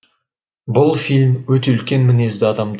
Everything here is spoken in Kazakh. бұл фильм өте үлкен мінезді адамды